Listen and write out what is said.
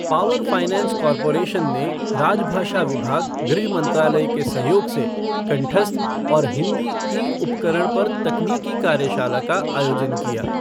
power finance corporation ने राजभाषा विभाग, गृह मंत्रालय के सहयोग से कंठस्थ और हिंदी ई उपकरण पर तकनीकी कार्यशाला का आयोजन किया